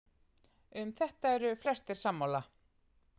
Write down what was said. um þetta eru flestir sammála